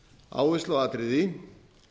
áherslu á atriði